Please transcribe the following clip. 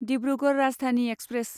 Dibrugarh Rajdhani express